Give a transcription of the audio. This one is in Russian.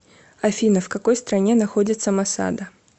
афина в какой стране находится масада